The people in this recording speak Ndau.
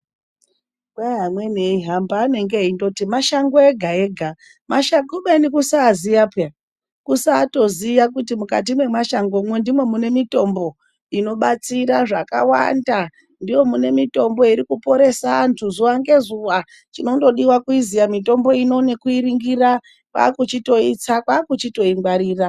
Kwai amweni eihamba anenge eindoti mashango ega-ega, kubeni kusaziya pheya. Kusaatoziya kuti mukati mwemashangomwo ndimo mune mitombo, inobatsira zvakawanda. Ndimo mune mitombo iri kuporesa antu zuwa ngezuwa. Chinondodiwa kuiziya mitombo ino nekuiringira, kwaakuchitoitsa kwaakuchitoingwarira.